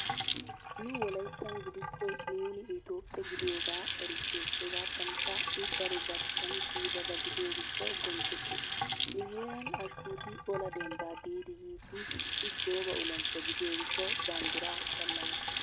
Nu wolayttan gidikko nuuni Itoophphe gidiyogaa erissees. Hegaattankka I daro barchchiyan kiyidaba gidiyo gishshawu bonchchettees. Nu heeran Ashkkuuti ola dembbaa biidi yiiddi I gooba olanchcha gidiyo gishshawu banddiraa shallamettiis.